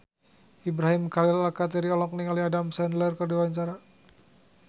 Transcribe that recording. Ibrahim Khalil Alkatiri olohok ningali Adam Sandler keur diwawancara